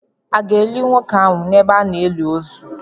À ga-eli nwoke ahụ n’ebe a na-eli ozu?